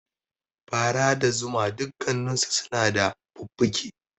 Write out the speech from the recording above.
Fara da zuma dukkansu suna da fuffuke